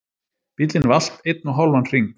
Bíllinn valt einn og hálfan hring